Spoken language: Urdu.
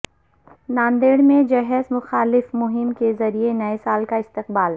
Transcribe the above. ناندیڑ میں جہیز مخالف مہم کے ذریعہ نئے سال کا استقبال